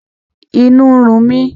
Inú ń run mi